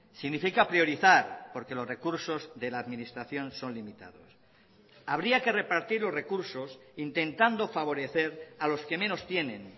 significa priorizar porque los recursos de la administración son limitados habría que repartir los recursos intentando favorecer a los que menos tienen